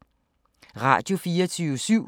Radio24syv